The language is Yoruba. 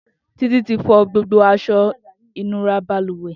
Titi ti fọ gbógbó aṣọ inúrà bàlúwẹ̀